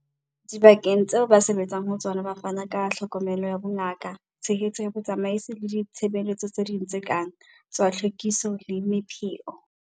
Dibakeng tseo ba sebetsang ho tsona ba fana ka tlhokomelo ya bongaka, tshehetso ya botsamaisi le ditshebeletso tse ding tse kang tsa tlhwekiso le mepheo.